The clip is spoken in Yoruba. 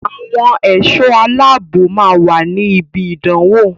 Àwọn ẹ̀sọ́ aláàbnò máa wà ní ibi ìdánwò.